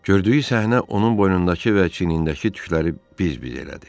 Gördüyü səhnə onun boynundakı və çiyinindəki tükləri biz-biz elədi.